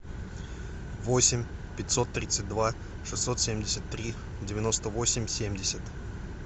восемь пятьсот тридцать два шестьсот семьдесят три девяносто восемь семьдесят